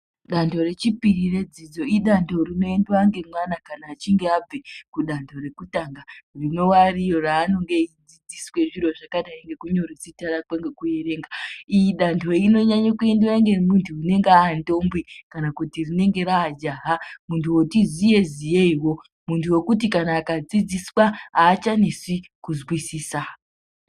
Dando rechipiri redzidzo idando rinoendwa ngemwana kana achinge abva kudando rekutanga rinowa iro raanenge eidzidziswa zviro zvakadai ngekunyore zita rakwe ngekuerenga. Iri dando rinonyanye kuendewa ngemuntu anenge andombi kana kuti rinenge raajaha, muntu woti ziye ziyeiwo, muntu wekuti kana akadzidziswa haachanesi kuzwisisa.